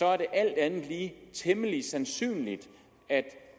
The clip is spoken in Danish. er det alt andet lige temmelig sandsynligt at